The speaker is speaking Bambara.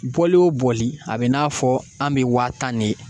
Bɔli o bɔli a bɛ n'a fɔ an bɛ waa tan de